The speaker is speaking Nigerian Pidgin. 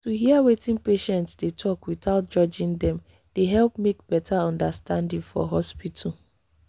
to hear wetin patient dey talk without judging dem dey help make better understanding for hospital.